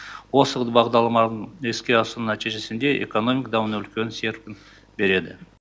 осы бағдарламаларды іске асыру нәтижесінде экономика даму үлкен серпін береді